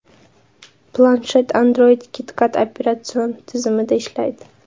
Planshet Android KitKat operatsion tizimida ishlaydi.